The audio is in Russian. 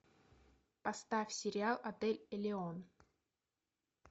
поставь сериал отель элеон